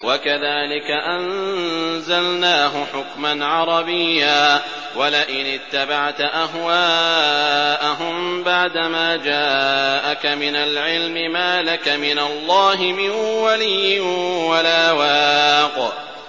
وَكَذَٰلِكَ أَنزَلْنَاهُ حُكْمًا عَرَبِيًّا ۚ وَلَئِنِ اتَّبَعْتَ أَهْوَاءَهُم بَعْدَمَا جَاءَكَ مِنَ الْعِلْمِ مَا لَكَ مِنَ اللَّهِ مِن وَلِيٍّ وَلَا وَاقٍ